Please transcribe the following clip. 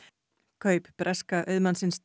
kaup breska auðmannsins